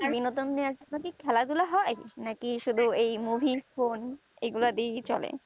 বিনেদন নিয়ে খেলা ধুলা হয় নাকি শুধু এই movie এগুলাই দিয়ে চলে